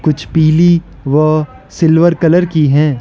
कुछ पीली व सिल्वर कलर की हैं।